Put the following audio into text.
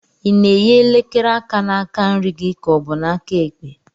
Ị na-eyi elekere aka na-aka nri ka ọ bụ na-aka ekpe?